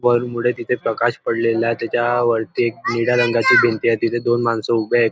वर मुळे तिथे प्रकाश पडलेल आहे त्याच्या वरती निळ्या रंगाची भिंती आहे तिथ दोन माणस उभे आहेत.